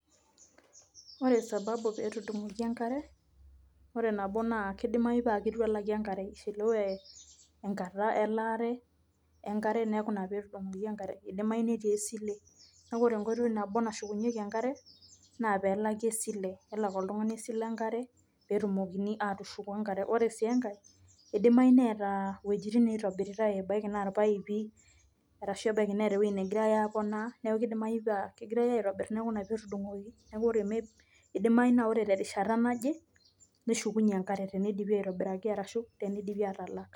ore sababu pee etudungoki enkare. ore nabo aakidimayu naa keitu elaki enkare, eishiliwe enkata elaare enkare neeku ina pee etudungoki enkare, idimayu netii esile. neku ore enkoitoi nabo nashukunyieki enkare, na pee elaki esile. pee elak oltungani esile enkare, pee etumokini aatushuku enkare. ore si enkae eidimayu neetae iwuejitin naitobitritae ebaiki naa ipaipi, ashu ebaiki naa eweji negirae apoonaa. neku kidimayu naa kegirae aitobir ina pee etudung'oki. neku idimayu naa ore terishata naje neshukunye enkare, ina pee eitobiraki ashu teneidipi aatalak.